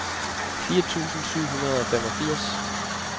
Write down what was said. fire tusind syv hundrede og femogfirs